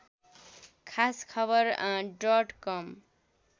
खास खबर डट कम